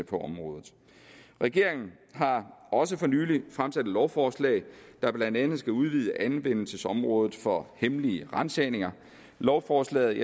på området regeringen har også for nylig fremsat et lovforslag der blandt andet skal udvide anvendelsesområdet for hemmelige ransagninger lovforslaget